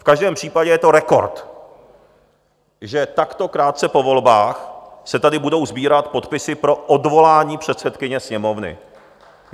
V každém případě je to rekord, že takto krátce po volbách se tady budou sbírat podpisy pro odvolání předsedkyně Sněmovny.